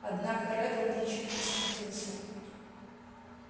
однако реддл ничуть не смутился